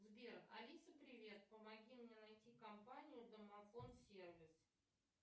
сбер алиса привет помоги мне найти компанию домофон сервис